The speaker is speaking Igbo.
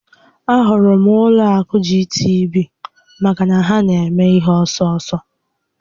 A hụrụ m ụlọ akụ GTB maka na ha na eme ihe ọsọ ọsọ